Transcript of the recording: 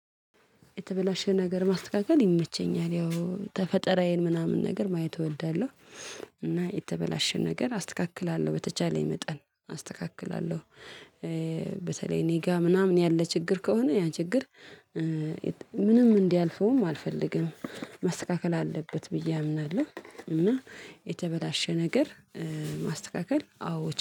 የተበላሸ ነገር ማስተካከል ይመቸኛል ያው ተፈጠራዬን ምናምን ነገር ማየት እወዳለሁ። እና የተበላሸ ነገር አስተካክላለሁ በተቻለኝ መጠን አስተካክላለሁ። በተለይ እኔ ጋር ምናምን ያለ ችግር ከሆነ ያን ችግር። ምንም እንዲያልፈውም አልፈልግም መስተካከል አለበት ብዬ አምናለሁ። እና የተበላሸ ነገር ማስተካከል አዎ